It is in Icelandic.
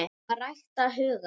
AÐ RÆKTA HUGANN